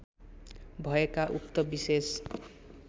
भएका उक्त विशेष